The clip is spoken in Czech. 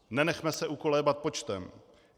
Nenechme se ukolébat počtem.